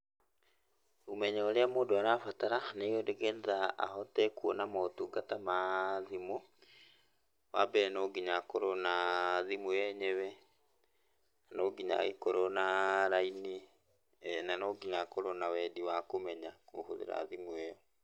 Ũmenyo ũrĩa mũndũ arabatara nĩ getha ahote kuona motungata ma thimũ. Wa mbere no nginya akorwo na thimũ yenyewe no nginya agĩkorwo na raini, na no nginya akorwo na wendi wa kũmenya kũhũthĩra thimũ ĩyo.